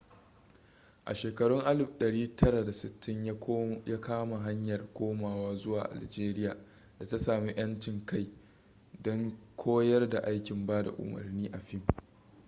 a shekarun 1960 ya kama hanyar komawa zuwa algeria da ta sami 'yancin kai don koyar da aikin bada umarni a fim